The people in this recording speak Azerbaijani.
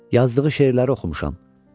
Yazdığı şeirləri oxumuşam.